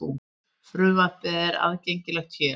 Frumvarpið er aðgengilegt hér